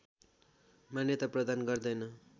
मान्यता प्रदान गर्दैन